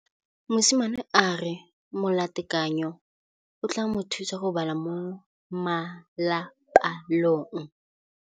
Mosimane a re molatekanyô o tla mo thusa go bala mo molapalong.